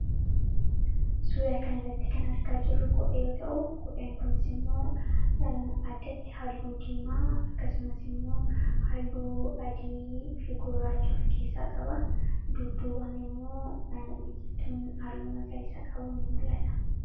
Suura kana irratti kan argaa jirru kophee yoo ta'u; Kopheen kunis immoo addatti halluu Diimaa akkasumas immoo halluu Adiifi Gurraacha ofkeessaa qaba. Dudduubaan immoo biqituun halluu magariisa qabu nimul'ata.